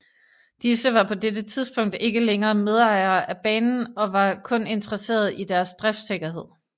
Disse var på dette tidspunkt ikke længere medejere af banen og var kun interesseret i deres driftssikkerhed